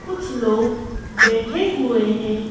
कुछ लोग बैठे हुए हैं।